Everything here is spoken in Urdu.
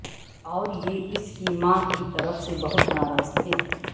اور یہ اس کی ماں کی طرف سے بہت ناراض تھے